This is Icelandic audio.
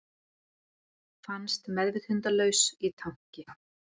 Fannst meðvitundarlaus í tanki